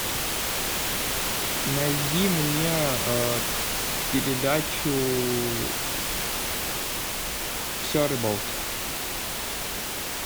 найди мне передачу все о рыбалке